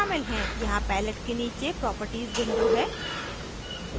यहाँ palette के नीचे properties window है